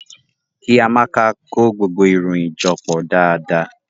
Ki Amaka ko gbogbo iroyin jọ pọ daadaa.